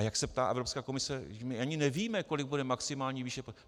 A jak se ptá Evropská komise, my ani nevíme, kolik bude maximální výše...